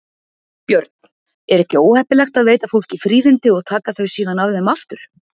Björn: Er ekki óheppilegt að veita fólki fríðindi og taka þau síðan af þeim aftur?